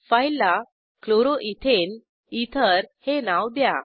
फाईलला chloroethane ether हे नाव द्या